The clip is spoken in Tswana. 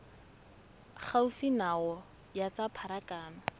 gaufi nao ya tsa pharakano